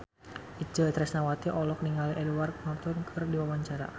Itje Tresnawati olohok ningali Edward Norton keur diwawancara